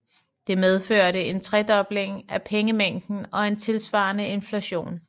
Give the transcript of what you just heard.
Det medførte en tredobling af pengemængden og en tilsvarende inflation